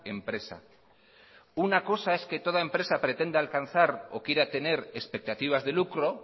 empresa una cosa es que toda empresa pretenda alcanzar o quiera tener expectativas de lucro